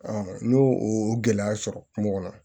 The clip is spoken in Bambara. n y'o o gɛlɛya sɔrɔ kungo kɔnɔ